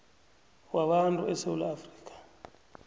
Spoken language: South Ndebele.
wabantu esewula afrika